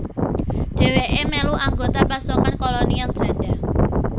Dhèwèké melu anggota pasukan kolonial Belanda